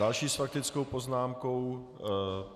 Další s faktickou poznámkou...